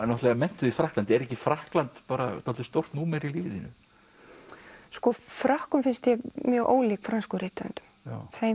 náttúrulega menntuð í Frakklandi er ekki Frakkland dálítið stórt númer í lífi þínu sko Frökkum finnst ég mjög ólík frönskum rithöfundum þeir